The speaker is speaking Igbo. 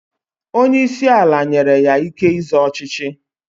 Onye isi ala nyere ya ike ịzọ ọchịchị.